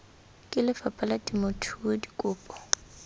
ke lefapha la temothuo dikopo